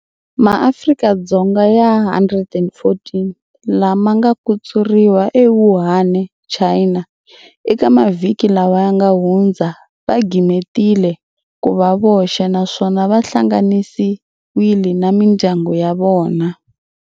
MaAfrika-Dzonga ya 114 lama nga kutsuriwa eWuhaneChina eka mavhiki lawa ya nga hundza va gimetile ku va voxe naswona vahlanganisiwile na mindyangu ya vona.